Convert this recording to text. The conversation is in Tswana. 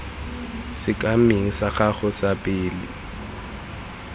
sekemeng sa gago sa pele